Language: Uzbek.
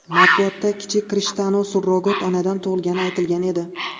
Matbuotda kichik Krishtianu surrogat onadan tug‘ilgani aytilgan edi.